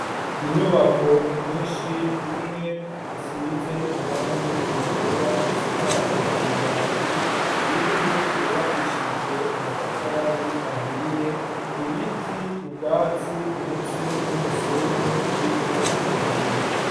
Inyubako nyinshi, imwe isize ibara ryera isakajwe amabati, iyindi yubakishije amatafari ahiye, ibiti, ubwatsi, ndetse n' umusenyi urimwo utubuye.